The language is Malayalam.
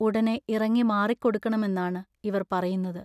ഉടനെ ഇറങ്ങി മാറിക്കൊടുക്കണമെന്നാണ് ഇവർ പറയുന്നത്.